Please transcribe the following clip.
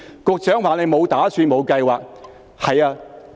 局長說沒有打算，沒有計劃。